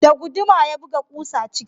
Da guduma ya buga ƙusa ciki